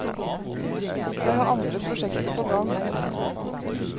Jeg har andre prosjekter på gang.